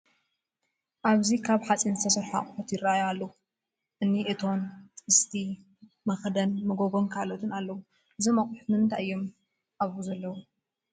ኣብዚ ካብ ሓፂን ዝተሰርሑ ኣቑሑ ይርአዩ ኣለዉ፡፡ እኒ እቶን፣ ጥስቲ፣ መኽደን መጎጎን ካልኦትን ኣለዉ፡፡ እዞም ኣቑሑ ንምንታይ እዮም ኣብኡ ዘለዉ?